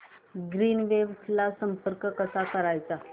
Greenwaves ला संपर्क कसा करायचा